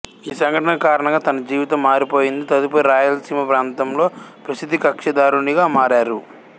ఈ సంఘటన కారణంగా తన జీవితం మారిపోయింది తదుపరి రాయలసీమ ప్రాంతంలో ప్రసిద్ధ కక్షిదారునిగా మారారు